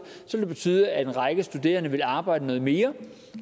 vil det betyde at en række studerende vil arbejde noget mere